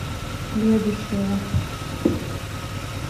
следующая